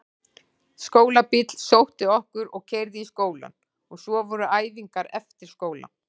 Skólabíll sótti okkur og keyrði í skólann og svo voru æfingar eftir skóla.